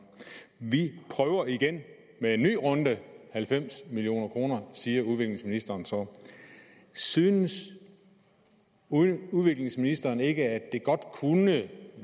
vi prøver igen med en ny runde halvfems million kr siger udviklingsministeren så synes udviklingsministeren ikke at det godt kunne i